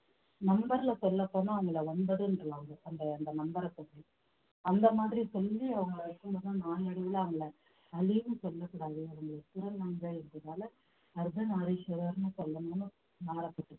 number ல சொல்லப் போனா அவங்கள ஒன்பதுன்றுவாங்க அந்த அந்த number அ சொல்லி அந்த மாதிரி சொல்லி அவங்கள வைக்கும்போது நாளடைவுல அவங்களை அலின்னு சொல்லக் கூடாது அவங்கள திருநங்கை அர்த்தநாரீஸ்வரர்ன்னு சொல்லணும்ன்னு மாறப்பட்டது